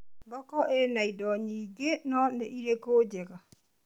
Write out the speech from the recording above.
Thoko ĩna indo nyingĩ, no nĩ irĩkũ njega?